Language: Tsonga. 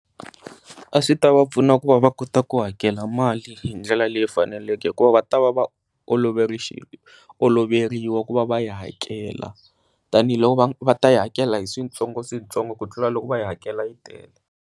A swi ta va pfuna ku va va kota ku hakela mali hi ndlela leyi faneleke ku va va ta va oloveriwa ku va va yi hakela tanihiloko va va ta yi hakela hi switsongo swintsongo ku tlula loku va yi hakela yi tele.